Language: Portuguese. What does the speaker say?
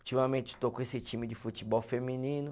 Ultimamente estou com esse time de futebol feminino.